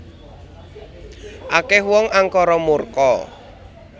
Akeh wong angkara murka